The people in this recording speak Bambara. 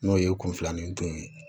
N'o ye kun filanin don